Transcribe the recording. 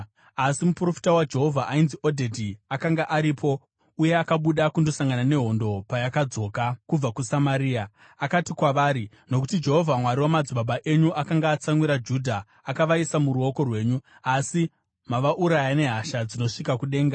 Asi muprofita waJehovha ainzi Odhedhi akanga aripo, uye akabuda kundosangana nehondo payakadzoka kubva kuSamaria. Akati kwavari, “Nokuti Jehovha, Mwari wamadzibaba enyu akanga atsamwira Judha, akavaisa muruoko rwenyu. Asi mavauraya nehasha dzinosvika kudenga.